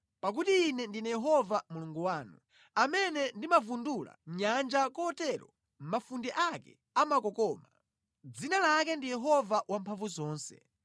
Pakuti Ine ndine Yehova Mulungu wanu, amene ndimavundula nyanja kotero mafunde ake amakokoma. Dzina lake ndi Yehova Wamphamvuzonse.